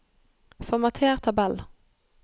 Formater tabell